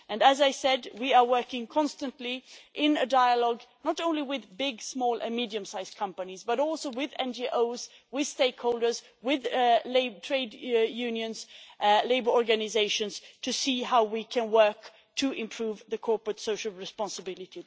And, as I said, we are working constantly in a dialogue, not only with big, small and medium sized companies but also with NGOs, with stakeholders and with trade unions and labour organisations, to see how we can endeavour to improve corporate social responsibility.